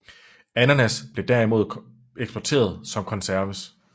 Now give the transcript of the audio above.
Ananas blev derimod eksporteret som konserves